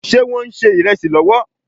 Ṣé Wọ́n ń ṣe ìrẹsì lọ́wọ́?